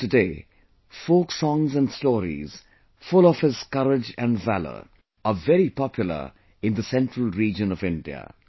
Even today folk songs and stories, full of his courage and valour are very popular in the central region of India